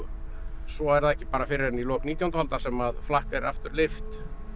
svo er það ekki fyrr en í lok nítjándu aldar sem flakk er aftur leyft